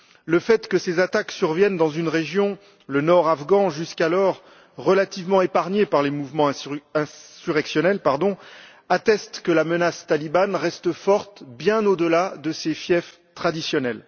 Le fait que ces attaques surviennent dans une région, le nord afghan, jusqu'alors relativement épargnée par les mouvements insurrectionnels atteste que la menace talibane reste forte, bien au delà de ses fiefs traditionnels.